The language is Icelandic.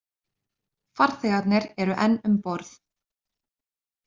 Farþegarnir eru enn um borð